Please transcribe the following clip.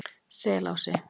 Selási